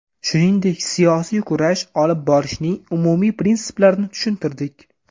Shuningdek, siyosiy kurash olib borishning umumiy prinsiplarini tushuntirdik.